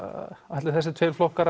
ætla þessir tveir flokkar